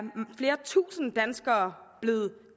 flere tusinde danskere blevet